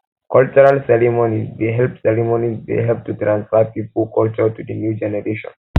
cultural ceremonies dey help ceremonies dey help to transfer pipo culture to di new generation